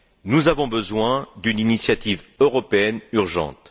Nous avons besoin d'une initiative européenne urgente.